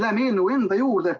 Läheme eelnõu enda juurde.